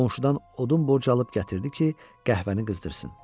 Qonşudan odun borc alıb gətirdi ki, qəhvəni qızdırsın.